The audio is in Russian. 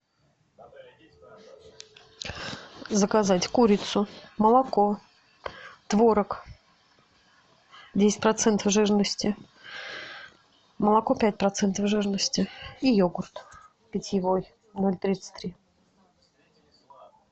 заказать курицу молоко творог десять процентов жирности молоко пять процентов жирности и йогурт питьевой ноль тридцать три